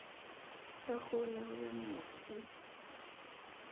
ya kgoholeho ya monu ii